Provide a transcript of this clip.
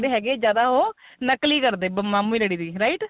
ਤੇਜ ਹੈਗੇ ਜਿਆਦਾ ਉਹ ਨਕਲ ਈ ਕਰਦੇ ਮੰਮੀ ਡੈਡੀ ਦੀ write